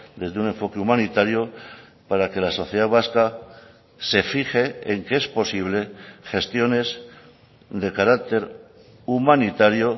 desde un enfoque humanitario para que la sociedad vasca se fije en que es posible gestiones de carácter humanitario